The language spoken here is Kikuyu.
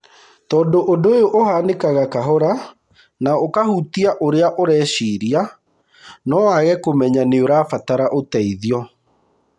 Tondũ ũndũ úyũ ũhanĩkaga kahora na ũkahutia ũrĩa ũreciria no wage kũmenya nĩũrabatara ũteithio.